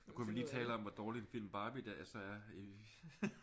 Kunne vi lige tale om hvor dårlig en film Barbie der så er